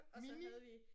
Mini?